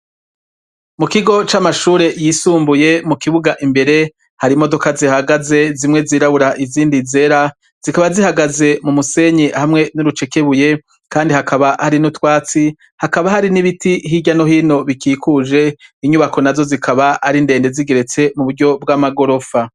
Mu kigo c'amashuri yisumbuye mu kibuga imbere hari imodoka zihagaze zimwe zirabura n'izindi zera zikaba zihagaze mu musenyi hamwe n'urucekebuye kandi hakaba hari n'utwatsi hakaba hari n'ibiti hirya no hino bikikuje inyubako nazo zikaba arindende zigeretse mu buryo bw'amagorofa.